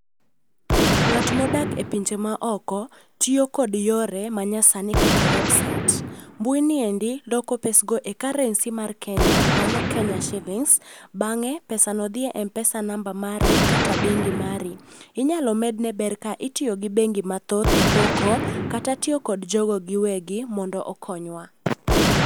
Ng'at ma odak epinje maoko tiyo kod yore manyasani kaka website, mbui niendi loko pesgo e currency mar Kenya, mano Kenya siling' bang'e pesano dhi e m-pesa namba mari kata bengi mari. Inyalo medne ber ka itiyo gi bengi mathoth e poko kata tiyo kod jogo giwegi mondo okonywa.